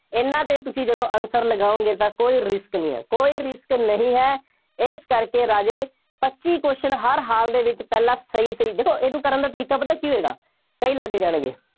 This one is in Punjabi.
ਇਹਨਾ ਤੇ ਤੁਸੀਂ ਜਦੋਂ answer ਲਗਾਓਗੇ ਤਾਂ ਕੋਈ risk ਨਹੀਂ ਹੈ। ਕੋਈ risk ਨਹੀਂ ਹੈ। ਇਸ ਕਰਕੇ ਰਾਜੇ, ਪੱਚੀ question ਹਰ ਹਾਲ ਦੇ ਵਿੱਚ ਪਹਿਲਾਂ ਸਹੀ ਸਹੀ, ਦੇਖੋ ਇਹਨੂੰ ਕਰਨ ਦਾ ਤਰੀਕਾ ਪਤਾ ਕੀ ਹੋਵੇਗਾ, ਕਈ ਲੱਗ ਜਾਣਗੇ।